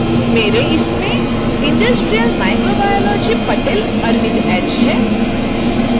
मेरे इसमें industrial microbiology patel arvind h है